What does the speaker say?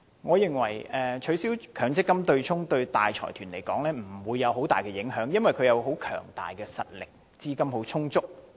我認為取消強積金對沖機制對大財團來說不會造成很大的影響，因為他們實力強大，資金充裕。